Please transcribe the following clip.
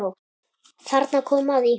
Þarna kom að því.